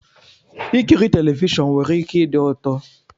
Ikiri telivishọn nwere ike ịdi ụtọ